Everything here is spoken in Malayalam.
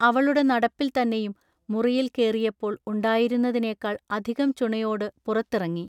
അവളുടെ നടപ്പിൽ തന്നെയും മുറിയിൽ കേറിയപ്പോൾ ഉണ്ടായിരുന്നതിനേക്കാൾ അധികം ചുണയോടു പുറത്തിറങ്ങി.